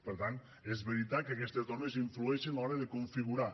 per tant és veritat que aquestes normes influeixen a l’hora de configurar